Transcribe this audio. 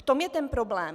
V tom je ten problém.